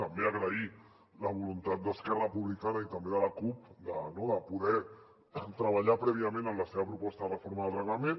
també agrair la voluntat d’esquerra republicana i també de la cup de poder treballar prèviament en la seva proposta de reforma del reglament